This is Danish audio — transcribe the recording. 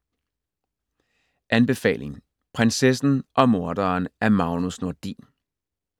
Anbefaling: Prinsessen og morderen af Magnus Nordin